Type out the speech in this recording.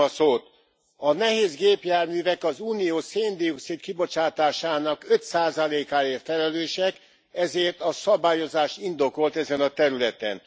A nehézgépjárművek az Unió széndioxid kibocsátásának 5 százalékáért felelősek, ezért a szabályozás indokolt ezen a területen.